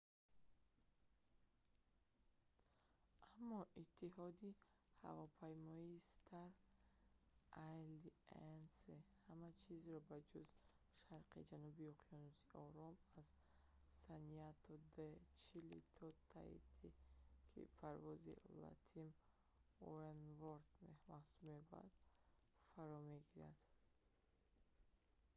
аммо иттиҳоди ҳавопаймоии «star alliance» ҳама чизро ба ҷуз шарқи ҷануби уқёнуси ором аз сантяго-де-чили то таити ки парвози «latam oneworld» маҳсуб меёбад фаро мегирад